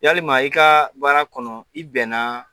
Yalima i kaaa baara kɔnɔ, i bɛnna